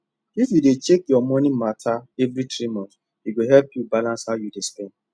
if you dey check your money matter every three months e go help you balance how you dey spend